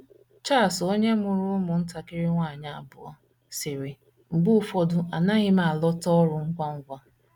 Charles, onye mụrụ ụmụntakịrị nwanyị abụọ, sịrị: “ Mgbe ụfọdụ anaghị m alọta ọrụ ngwa ngwa.